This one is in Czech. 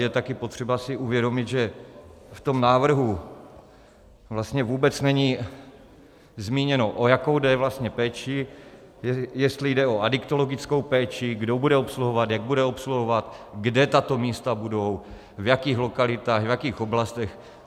Je také potřeba si uvědomit, že v tom návrhu vlastně vůbec není zmíněno, o jakou jde vlastně péči, jestli jde o adiktologickou péči, kdo bude obsluhovat, jak bude obsluhovat, kde tato místa budou, v jakých lokalitách, v jakých oblastech.